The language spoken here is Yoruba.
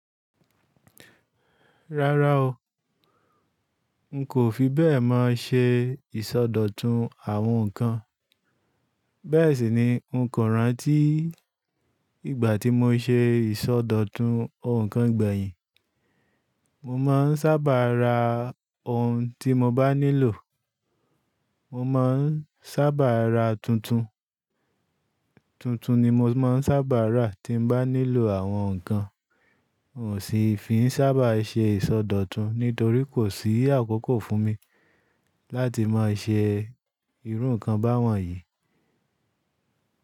Rárá o, n kò fi bẹ́ẹ̀ mọ ṣe ìsọdọ̀tun àwọn nǹkan. Bẹ́ẹ̀ sì ni n kò rántí ìgbà tí mo ṣe ìsọdọ̀tun òǹkà gbẹ̀yìn. Mo máa ń sábà ra ohun tí mo bá nílò. Mo máa ń sábà ra tuntun. Tuntun ni mo máa ń sábà rà tí n bá nílò àwọn nǹkan. Kò sì fi sábà ṣe ìsọdọ̀tun nítorí kò sí àkókò fún mi láti máa ṣe irú nǹkan báwọn yìí.